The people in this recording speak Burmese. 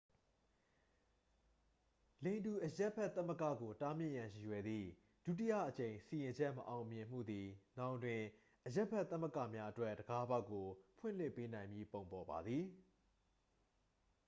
လိင်တူအရပ်ဘက်သမဂ္ဂကို တားမြစ်ရန်ရည်ရွယ်သည့် ဒုတိယအကြိမ်စီရင်ချက်မအောင်မြင်မှုသည် နောင်တွင် အရပ်ဘက် သမဂ္ဂများအတွက် တံခါးပေါက်ကို ဖွင့်လှစ်ပေးနိုင်မည့်ပုံပေါ်ပါသည်